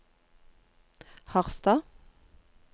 Harstad